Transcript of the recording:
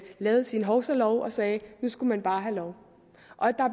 lavede sin hovsalov og sagde at nu skulle man bare have lov